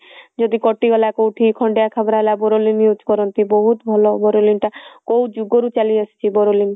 ଯଦି କଟିଗଲା କଉଠି ଖଣ୍ଡିଆ ଖାବରା ହେଲା boroline use କରନ୍ତି ବହୁତ ଭଲ boroline ଟା କଉ ଯୁଗ ରୁ ଚାଲି ଆସିଛି boroline